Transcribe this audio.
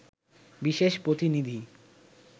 বিশেষ প্রতিনিধি